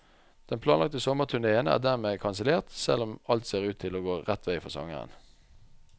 Den planlagte sommerturnéen er dermed kansellert, selv om alt ser ut til å gå rett vei for sangeren.